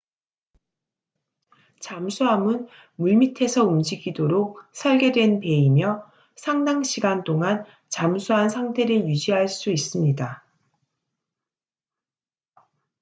잠수함은 물밑에서 움직이도록 설계된 배이며 상당 시간 동안 잠수한 상태를 유지할 수 있습니다